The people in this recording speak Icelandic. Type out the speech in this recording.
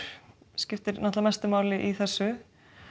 skiptir mestu máli í þessu